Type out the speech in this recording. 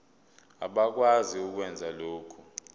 abakwazi ukwenza lokhu